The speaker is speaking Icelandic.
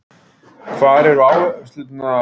Hvar eru áherslurnar í dag, tengdar heilsu?